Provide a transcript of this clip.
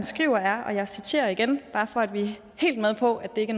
skriver er og jeg citerer igen bare for at vi er helt med på at det ikke